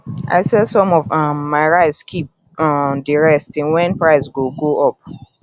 i sell some of um my rice keep um di rest till wen price go go up